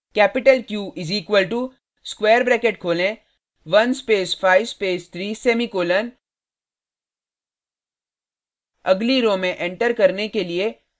capital q is equal to square bracket खोलें 1 space 5 space 3 semicolon अगली row row में enter करने के लिए